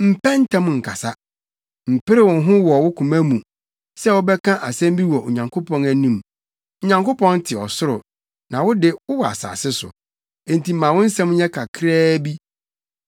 Mpɛ ntɛm nkasa. Mpere wo ho wɔ wo koma mu sɛ wobɛka asɛm bi wɔ Onyankopɔn anim. Onyankopɔn te ɔsoro na wo de, wowɔ asase so, enti ma wo nsɛm nyɛ kakraa bi.